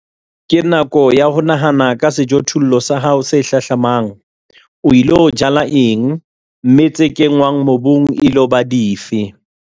Ke nako ya ho nahana ka sejothollo sa hao se hlahlamang - o ilo jala eng, mme tse kenngwang mobung e ilo ba dife?